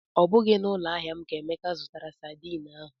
Ọ bụghị na ụloahịa m ka Emeka zụtara sadin ahụ